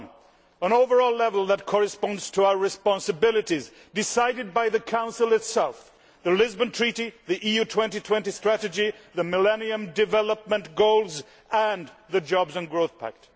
Firstly, an overall level that corresponds to our responsibilities, decided by the Council itself, the Lisbon Treaty, the EU 2020 strategy, the Millennium Development Goals and the jobs and growth pact.